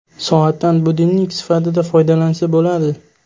Soatdan budilnik sifatida foydalansa bo‘ladi!